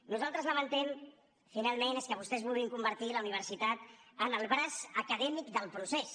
nosaltres lamentem finalment que vostès vulguin convertir la universitat en el braç acadèmic del procés